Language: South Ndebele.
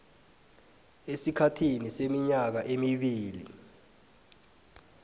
esikhathini seminyaka emibili